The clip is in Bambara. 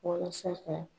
Walasa ka